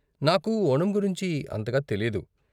నాకు ఓణం గురించి అంతగా తెలియదు.